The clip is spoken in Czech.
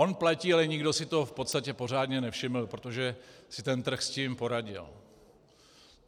On platí, ale nikdo si toho v podstatě pořádně nevšiml, protože si ten trh s tím poradil.